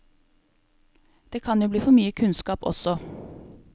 Det kan jo bli for mye kunnskap også.